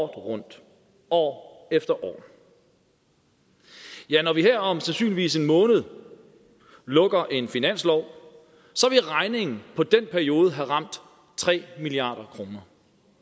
rundt år efter år ja når vi her om sandsynligvis en måned lukker en finanslov så vil regningen på den periode have ramt tre milliard kroner